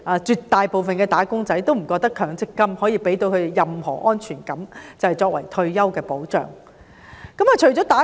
絕大部分"打工仔"不會認為強積金能給他們任何退休保障的安全感。